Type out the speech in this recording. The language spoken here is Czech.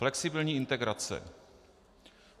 Flexibilní integrace.